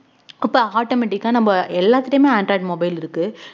அப்ப automatic ஆ நம்ம எல்லாத்துகிட்டயுமே android mobile இருக்கு